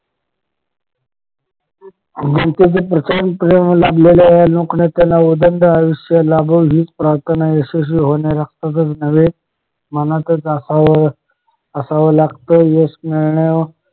जनतेचे प्रचंड प्रेम लाभलेले या लोकनेत्याला उदंड आयुष्य लाभो हीच प्राथर्ना यशस्वी होणे रक्तातच नव्हे मनातच असावं लागत यश मिळण्याव